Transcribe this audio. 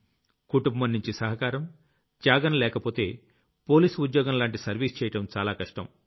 కుటుంబంనుంచి సహకారం త్యాగం లేకపోతే పోలీస్ ఉద్యోగం లాంటి సర్వీస్ చెయ్యడం చాలా కష్టం